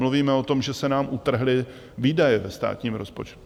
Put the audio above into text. Mluvíme o tom, že se nám utrhly výdaje ve státním rozpočtu.